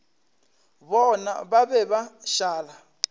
bona ba be ba šala